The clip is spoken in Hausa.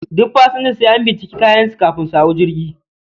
Duk pasanja sai an binciki kayan su kafin su hau jirgi